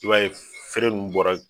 I m'a ye feere ninnu bɔra.